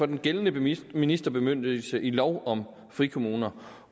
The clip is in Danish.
den gældende ministerbemyndigelse i lov om frikommuner